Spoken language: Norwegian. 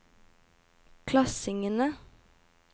klassingene